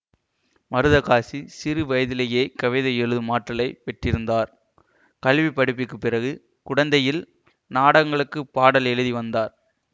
மருதகாசி சிறு வயதிலேயே கவிதை எழுதும் ஆற்றலை பெற்றிருந்தார் கல்வி படிப்புக்குப் பிறகு குடந்தையில் நாடகங்களுக்குப் பாடல்கள் எழுதி வந்தார்